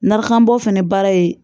Narakanbɔ fɛnɛ baara ye